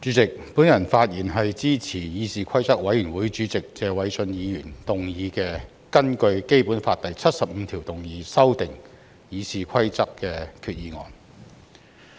主席，我發言支持議事規則委員會主席謝偉俊議員動議的根據《基本法》第七十五條動議修訂《議事規則》的擬議決議案。